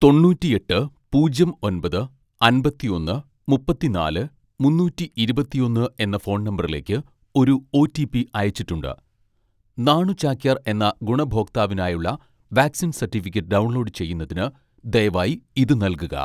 തൊണ്ണൂറ്റിയെട്ട് പൂജ്യം ഒൻപത് അമ്പത്തിയൊന്ന് മുപ്പത്തിനാല് മുന്നൂറ്റി ഇരുപത്തിയൊന്ന് എന്ന ഫോൺ നമ്പറിലേക്ക് ഒരു ഓ.റ്റി.പി അയച്ചിട്ടുണ്ട്. നാണു ചാക്യാർ എന്ന ഗുണഭോക്താവിനായുള്ള വാക്സിൻ സർട്ടിഫിക്കറ്റ് ഡൗൺലോഡ് ചെയ്യുന്നതിന് ദയവായി ഇത് നൽകുക